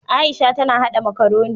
Aisha ta na haɗa makaroni.